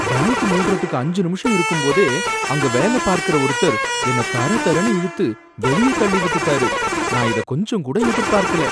Bank மூடுறதுக்கு அஞ்சு நிமிஷம் இருக்கும்போதே அங்க வேல பார்க்கற ஒருத்தர் என்ன தர தரனு இழுத்து வெளிய தள்ளி விட்டுட்டாரு, நான் இத கொஞ்சம் கூட எதிர்பார்க்கல.